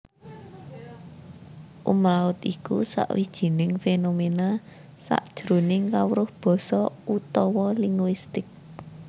Umlaut iku sawijining fénoména sajroning kawruh basa utawa linguistik